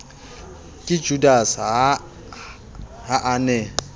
ka judase ha a ne